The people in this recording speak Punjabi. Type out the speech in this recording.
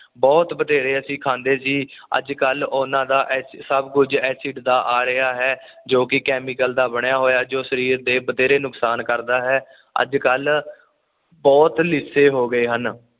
ਬੁਹਤ ਬਥੇਰੇ ਅਸੀਂ ਖਾਂਦੇ ਸੀ ਅੱਜ ਕੱਲ ਉਹਨਾਂ ਦਾ ਸਬ ਕੁਝ ਐਸਿਡ ਦਾ ਆ ਰਿਹਾ ਹੈ ਜੋ ਕਿ ਕੈਮੀਕਲ ਦਾ ਬਣਿਆ ਹੋਇਆ ਜੋ ਕਿ ਸਰੀਰ ਤੇ ਬਥੇਰੇ ਨੁਕਸਾਨ ਕਰਦਾ ਹੈ ਅੱਜ ਕੱਲ ਬੁਹਤ ਲਿਸੇ ਹੋ ਗਏ ਹਨ